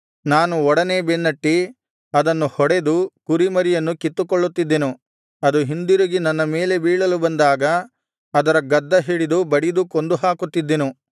ನಾನು ಒಡನೇ ಬೆನ್ನಟ್ಟಿ ಅದನ್ನು ಹೊಡೆದು ಕುರಿಮರಿಯನ್ನು ಕಿತ್ತುಕೊಳ್ಳುತ್ತಿದ್ದೆನು ಅದು ಹಿಂದಿರುಗಿ ನನ್ನ ಮೇಲೆ ಬೀಳಲು ಬಂದಾಗ ಅದರ ಗದ್ದಹಿಡಿದು ಬಡಿದು ಕೊಂದುಹಾಕುತ್ತಿದ್ದೆನು